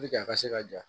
a ka se ka ja